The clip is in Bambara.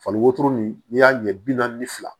Fali wotoro nin n'i y'a ɲɛ bi naani ni fila